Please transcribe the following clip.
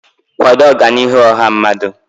kwado Ọganihu ọha mmadụ.